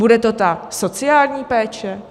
Bude to ta sociální péče?